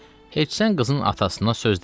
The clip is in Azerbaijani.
Heç sən qızın atasına söz demə.